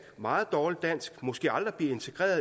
meget dårligt dansk og måske aldrig bliver integreret